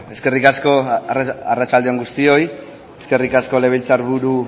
eskerrik asko arratsalde on guztioi eskerrik asko legebiltzar buru